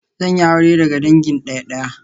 Zan yi aure daga dangin daya-daya